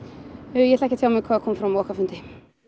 ég ætla ekki að tjá mig um hvað kom fram á okkar fundi